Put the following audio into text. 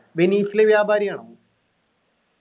വെനീസിലെ വ്യാപാരിയാണോ